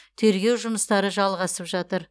тергеу жұмыстары жалғасып жатыр